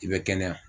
I bɛ kɛnɛya